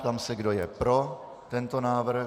Ptám se, kdo je pro tento návrh.